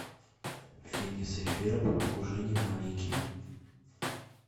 финес и ферб уже не маленькие